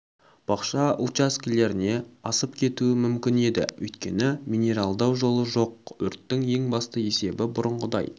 бақша участкілеріне асып кетуі мүмкін еді өйткені минералдау жолы жоқ өрттің ең басты себебі бұрынғыдай